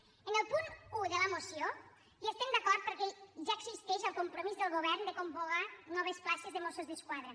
en el punt un de la moció hi estem d’acord perquè ja existeix el compromís del govern de convocar noves places de mossos d’esquadra